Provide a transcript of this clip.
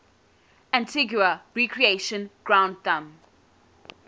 antigua recreation ground thumb